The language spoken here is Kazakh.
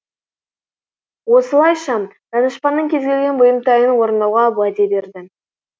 осылайша данышпанның кез келген бұйымтайын орындауға уәде береді